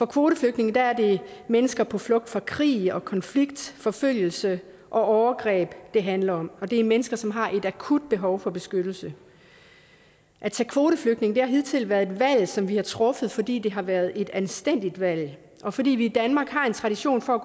kvoteflygtninge er mennesker på flugt fra krig og konflikt forfølgelse og overgreb det handler om og det er mennesker som har et akut behov for beskyttelse at tage kvoteflygtninge har hidtil været et valg som vi har truffet fordi det har været et anstændigt valg og fordi vi i danmark har en tradition for